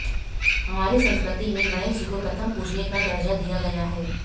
हमारी संस्कृति में गणेश जी को प्रथम पूजनीय का दर्जा दिया गया है